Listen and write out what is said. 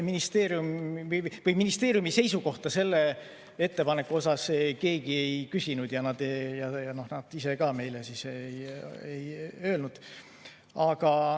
Ministeeriumi seisukohta konkreetselt selle ettepaneku puhul keegi ei küsinud ja nad ise ka meile ei öelnud.